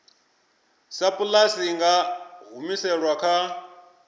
sapulasi i nga humiselwa kha